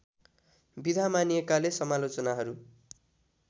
विधा मानिएकाले समालोचनाहरू